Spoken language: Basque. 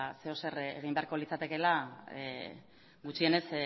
zer edo zer egin beharko litzatekeela gutxienez